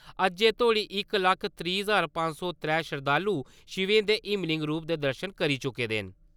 अज्जै तोह्ड़ी इक लक्ख त्रीह् ज्हार पंज सौ त्रै श्रद्धालु शिवें दे हिमलिंग रूप दे दर्शन करी चुके दे न।